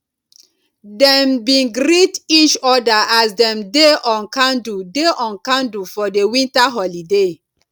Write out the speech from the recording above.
dem bin greet each other as dem dey on candle dey on candle for di winter holiday